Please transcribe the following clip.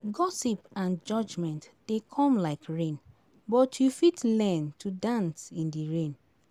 gossip and judgement dey come like rain but you fit learn to dance in di rain.